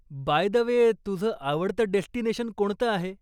Bye the way, तुझं आवडतं destination कोणतं आहे?